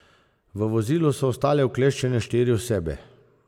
V vozilu so ostale ukleščene štiri osebe.